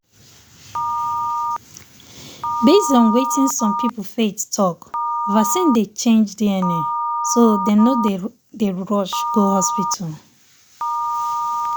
based on wetin some people faith talk vaccine dey change dna so dem no dey dey rush go hospital.